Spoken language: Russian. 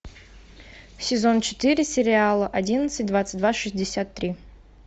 сезон четыре сериала одиннадцать двадцать два шестьдесят три